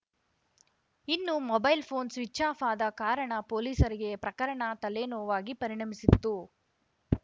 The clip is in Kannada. ಇನ್ನು ಮೊಬೈಲ್‌ ಫೋನ್‌ ಸ್ವಿಚ್‌ಆಫ್‌ ಆದ ಕಾರಣ ಪೊಲೀಸರಿಗೆ ಪ್ರಕರಣ ತಲೆನೋವಾಗಿ ಪರಿಣಮಿಸಿತ್ತು